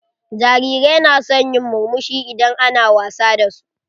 Jarirai na son yin murmushi idan ana wasa da su.